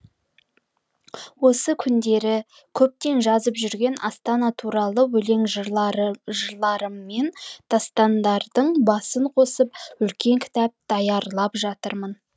осы күндері көптен жазып жүрген астана туралы өлең жырларым мен дастандардың басын қосып үлкен кітап даярлап жатырмын